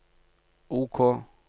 OK